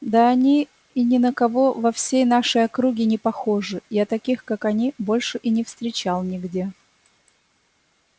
да они и ни на кого во всей нашей округе не похожи я таких как они больше и не встречал нигде